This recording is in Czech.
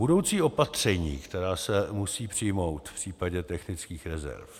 Budoucí opatření, která se musí přijmout v případě technických rezerv.